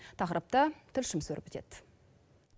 тақырыпты тілшіміз өрбітеді